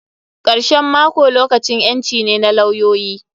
Karshen mako lokacin ƴanci ne na lawyoyi.